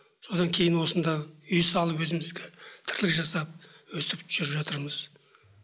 содан кейін осында үй салып өзімізге тірлік жасап өйстіп жүріп жатырмыз